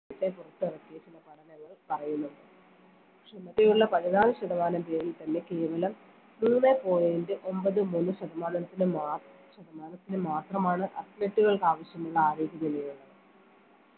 മറ്റേ പുറത്തിറക്കിയിട്ടുള്ള പഠനങ്ങൾ പറയുന്നത് ക്ഷമതയുള്ള പതിനാല് ശതമാനം പേരിൽ തന്നെ കേരളം മൂന്നേ point ഒമ്പത് മൂന്ന് ശതമാനത്തിന്റെ നാ ശതമാനത്തിൽ മാത്രമാണ് athlete കൾക്ക് ആവശ്യമുള്ള ആരോഗ്യ